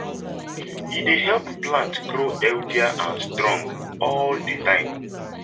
e dey help plants grow healthier and strong all di time